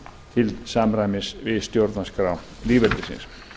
til samræmis við stjórnarskrá lýðveldisins